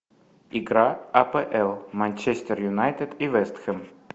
игра апл манчестер юнайтед и вест хэм